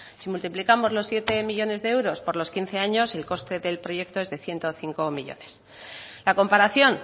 si multiplicamos los siete millónes de euros por los quince años el coste del proyecto es de ciento cinco millónes la comparación